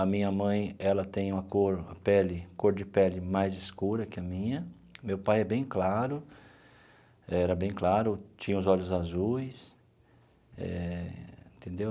a minha mãe, ela tem uma cor a pele cor de pele mais escura que a minha, meu pai é bem claro, era bem claro, tinha os olhos azuis, eh entendeu?